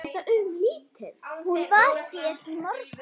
Hún var hér í morgun.